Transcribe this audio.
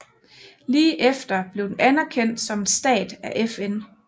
Lige efter blev den anerkendt som en stat af FN